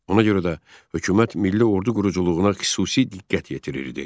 Ona görə də hökumət milli ordu quruculuğuna xüsusi diqqət yetirirdi.